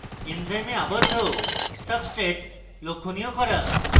enzyme আবদ্ধ substrate লক্ষনীয় করুন